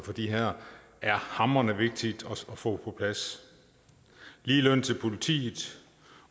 er er hamrende vigtigt at få på plads ligeløn til politiet